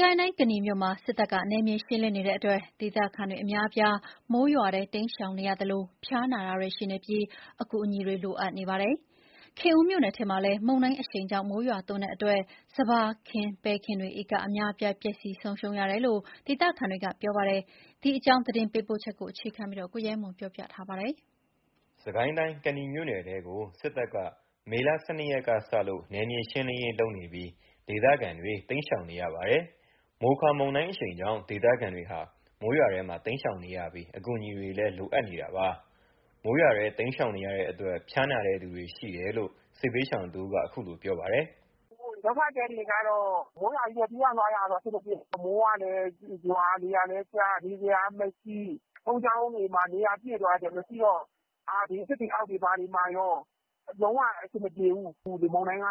ကိုင်းတိုင်း၊ ကနီမြို့မှာ စစ်တပ်ကနယ်မြေရှင်းလင်းနေတဲ့အတွက် ဒေသခံအများအပြား မိုးရွာထဲ တိမ်းရှောင်နေရတာကြောင့် ဖျားနာသူတွေရှိနေပြီး အကူအညီလိုအပ်နေပါတယ်။ ခင်ဦးမြို့နယ်ထဲမှာလည်း မုန်တိုင်းမိုးရွာတာကြောင့် စပါးခင်း၊ ပဲခင်းတွေ ဧကအများအပြား ပျက်စီးဆုံးရှုံးတယ်လို့ ဒေသခံတွေက ပြောပါတယ်။ ဒီအကြောင်း သတင်းပေးပို့ချက်ကို ကိုရဲမွန်က တင်ပြပေးထားပါတယ်။ စစ်ကိုင်းတိုင်း၊ ကနီမြို့နယ်ထဲကို စစ်တပ်က မေ ၁၂ ရက်ကစလို့ နယ်မြေရှင်းလင်းရေးလုပ်နေပြီး ဒေသခံတွေ တိမ်းရှောင်နေရပါတယ်။ မိုခါမုန်တိုင်းအရှိန်ကြောင့် ဒေသခံတွေဟာ မိုးရွာထဲမှာ တိမ်းရှောင်နေရပြီး အကူအညီတွေလည်း လိုအပ်နေတာပါ။ မိုးရွာထဲတိမ်းရှောင်နေရတဲ့အတွက် ဖျားနာတဲ့သူတွေရှိတယ်လို့ စစ်ဘေးရှောင်တဦးက အခုလို ပြောပါတယ်။ “ဒုက္ခသည်တွေက မိုးရွာကြီးထဲ ပြေးရတာဆိုတော့ အဆင်မပြေဘူး။ မိုးကလည်းရွာ၊ လေကလည်းတိုက်၊ နေစရာကမရှိ၊ ဘုန်းကြီးကျောင်းတွေလည်း နေရာပြည့်သွားတော့ မရှိတော့၊ သစ်ပင်အောက်တွေ ဘာတွေမှာကော လုံးဝ အဆင်မပြေဘူး။ လေမုန်တိုင်းက